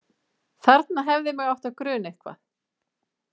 Þarna hefði mig átt að gruna eitthvað.